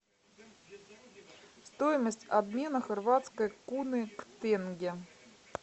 стоимость обмена хорватской куны к тенге